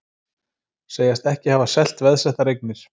Segjast ekki hafa selt veðsettar eignir